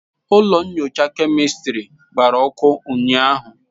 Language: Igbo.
Ụlọ nyocha kemịstịrị gbara ọkụ ụnyaahụ.